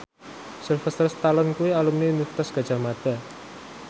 Sylvester Stallone kuwi alumni Universitas Gadjah Mada